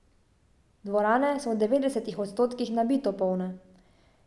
Dvorane so v devetdesetih odstotkih nabito polne.